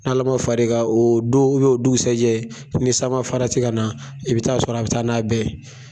N' ala ma fari i kan o don o dusɛ jɛ, ni sama fara ti ka na, i bɛ taa sɔrɔ a bɛ taa n'a bɛɛ ye.